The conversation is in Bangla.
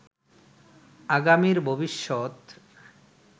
আগামীর ভবিষ্যত